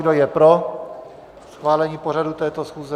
Kdo je pro schválení pořadu této schůze?